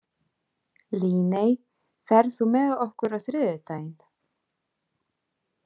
Líney, ferð þú með okkur á þriðjudaginn?